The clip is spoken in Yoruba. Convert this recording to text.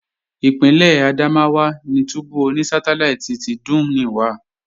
Ìpínlè Adamawa ni túbú oní sátáláìtì ti Dumne wà